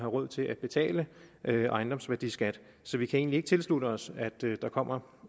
råd til at betale ejendomsværdiskat så vi kan egentlig ikke tilslutte os at der kommer